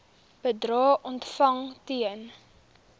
bedrae ontvang ten